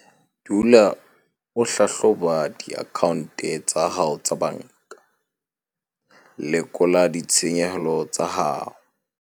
Dula o hlahloba diakhaonte tsa hao tsa banka - lekola ditshenyehelo tsa hao.